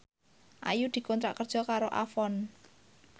Ayu dikontrak kerja karo Avon